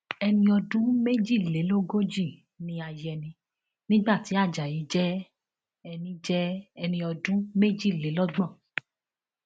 ẹni ọdún méjìlélógójì ni ayẹni nígbà tí ajayi jẹ ẹni jẹ ẹni ọdún méjìlélọgbọn